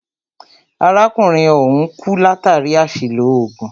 Arákùnrin ọ̀hùn kú látàri àṣìlò oògùn.